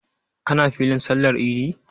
Ka na filin sallar idi?